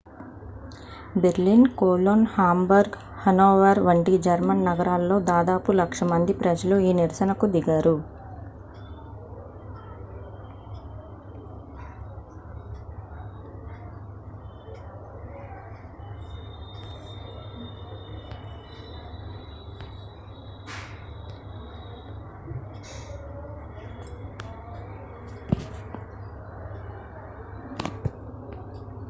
Berlin Cologne Hamburg Hanover వంటి German నగరాల్లో దాదాపు లక్ష మంది ప్రజలు ఈ నిరసన కు దిగారు